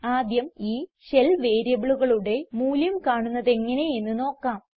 ആദ്യം ഈ ഷെൽ വേരിയബിളുകളുടെ മൂല്യം കാണുന്നതെങ്ങനെ എന്ന് നോക്കാം